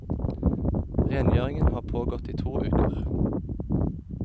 Rengjøringen har pågått i to uker.